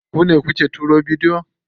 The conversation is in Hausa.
Ku ne kuke turo bidiyon?